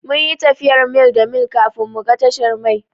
Mun yi tafiyar mil da mil kafin mu ga tashar mai.